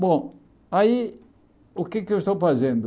Bom, aí, o que é que eu estou fazendo?